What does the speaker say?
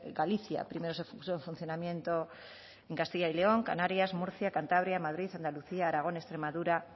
galicia primero se puso en funcionamiento en castilla y león canarias murcia cantabria madrid andalucía aragón extremadura